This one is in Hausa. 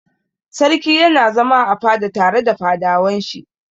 Sarki yana zama a fada tare da fadawan shi.